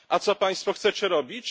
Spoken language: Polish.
A co Państwo chcecie robić?